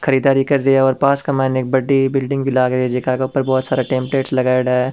खरीदारी का रहे है और पास के मई ने एक बड़ी बिल्डिंग भी लाग री है जेका के ऊपर बड़ी सारी टेम्पलेट्स लगाएड़ा है।